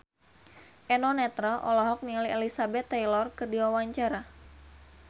Eno Netral olohok ningali Elizabeth Taylor keur diwawancara